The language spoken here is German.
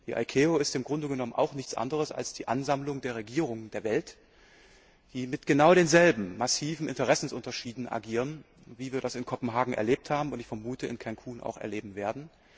Die ICAO ist im Grunde genommen auch nichts anderes als die Ansammlung der Regierungen der Welt, die mit genau denselben massiven Interessenunterschieden agieren, wie wir das in Kopenhagen erlebt haben und wie ich vermute auch in Cancún erleben werden.